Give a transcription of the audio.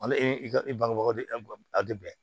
Hali e ka bangebaga a tɛ bɛn